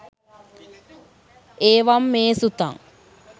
ඒවංමේසුතං!